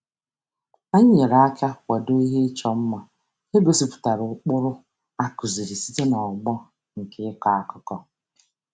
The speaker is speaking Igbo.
Anyị nyere aka kwado ihe ịchọ mma nke gosipụtara ụkpụrụ a kụziiri site n'ọgbọ nke ịkọ akụkọ.